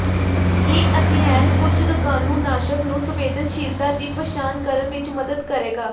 ਇਹ ਅਧਿਐਨ ਕੁਝ ਰੋਗਾਣੂਨਾਸ਼ਕ ਨੂੰ ਸੰਵੇਦਨਸ਼ੀਲਤਾ ਦੀ ਪਛਾਣ ਕਰਨ ਵਿੱਚ ਮਦਦ ਕਰੇਗਾ